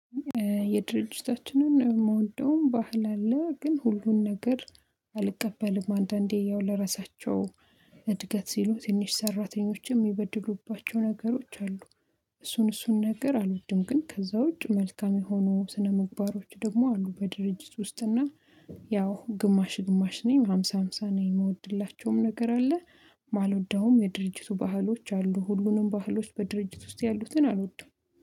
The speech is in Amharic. የድርጅታችንን የምወደውም ባህል አለ ግን ሁሉን ነገር አልቀበልም። አንዳንዴ ያው ለራሳቸው እድገት ሲሉ ትንሽ ሰራተኞችም የሚበድሉባቸው ነገሮች አሉ። እሱን እሱን ነገር አልወድም ግን ከዛ ውጭ መልካም የሆኑ ስነምግባሮች ደግሞ አሉ በድርጅት ውስጥና ያው ግማሽ ግማሽ ነኝ ሃምሳ ሃምሳ ነኝ። የምወድላቸውም ነገር አለ የማልወደውም የድርጅቱ ባህሎች አሉ። ሁሉንም ባህሎች በድርጅት ውስጥ ያሉትን አልወድም